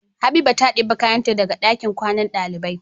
Habiba ta debe kayan ta daka dakin kwannan ɗalibai